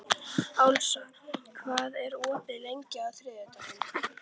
Ásla, hvað er opið lengi á þriðjudaginn?